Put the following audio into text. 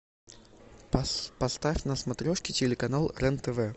поставь на смотрешке телеканал рен тв